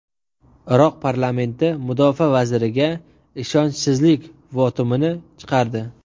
Iroq parlamenti mudofaa vaziriga ishonchsizlik votumini chiqardi.